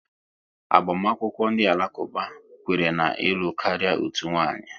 Agbamakwụkwọ ndị Alakuba, kwere na ịlụ karịa otu nwaanyị